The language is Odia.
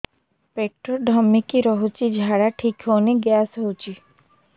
ପେଟ ଢିମିକି ରହୁଛି ଝାଡା ଠିକ୍ ହଉନି ଗ୍ୟାସ ହଉଚି